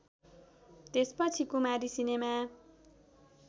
त्यसपछि कुमारी सिनेमा